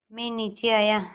मैं नीचे आया